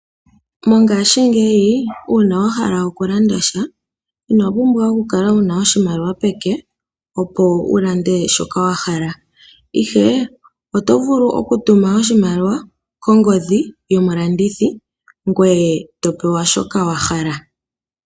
Mongashingeyi uuna wa hala okulanda sha ino pumbwa okukala wu na oshimaliwa peke, opo wu lande shoka wa hala, ihe oto vulu okutuma oshimaliwa kongodhi yomulandithi ngoye to pewa shoka wa hala.